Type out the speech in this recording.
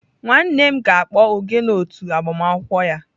Nwannem ga-akpọ ogene otu agbamakwụkwọ ya.